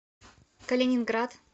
калининград